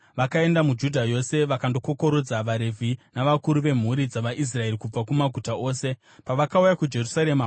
Vakaenda muJudha yose vakandokokorodza vaRevhi navakuru vemhuri dzavaIsraeri kubva kumaguta ose. Pavakauya kuJerusarema,